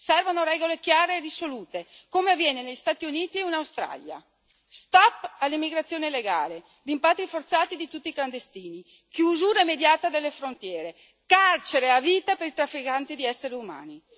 Servono regole chiare e risolute, come avviene negli Stati Uniti e in Australia stop all'immigrazione legale, rimpatri forzati di tutti clandestini, chiusura immediata delle frontiere, carcere a vita per i trafficanti di esseri umani.